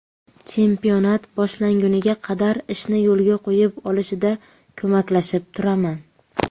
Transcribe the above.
Chempionat boshlanguniga qadar ishni yo‘lga qo‘yib olishida ko‘maklashib turaman.